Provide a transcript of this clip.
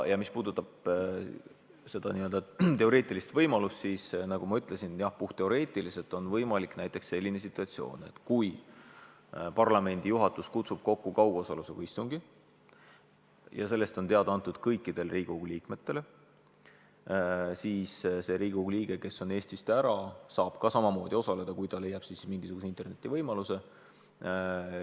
Mis puudutab seda teoreetilist võimalust, siis nagu ma ütlesin, jah, puhtteoreetiliselt on võimalik selline situatsioon, et parlamendi juhatus kutsub kokku kaugosalusega istungi ja sellest on teada antud kõikidele Riigikogu liikmetele ja see Riigikogu liige, kes on Eestist ära, saab samamoodi osaleda, kui ta leiab interneti teel selle võimaluse.